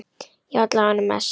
Já, alla vega mest.